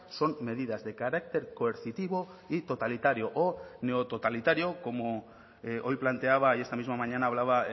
son medidas de carácter coercitivo y totalitario o neototalitario como hoy planteaba y esta misma mañana hablaba